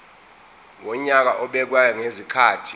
wonyaka obekwayo ngezikhathi